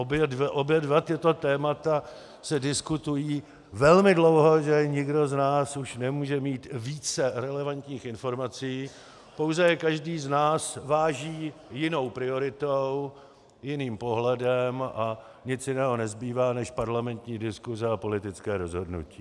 Obě dvě tato témata se diskutují velmi dlouho, že nikdo z nás už nemůže mít více relevantních informací, pouze každý z nás váží jinou prioritou, jiným pohledem a nic jiného nezbývá než parlamentní diskuse a politické rozhodnutí.